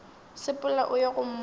sepela o ye go mmotša